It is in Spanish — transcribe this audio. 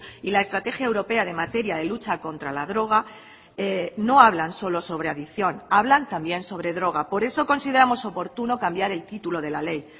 y la estrategia europea de materia de lucha contra la droga no hablan solo sobre adicción hablan también sobre droga por eso consideramos oportuno cambiar el título de la ley